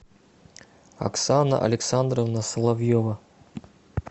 оксана александровна соловьева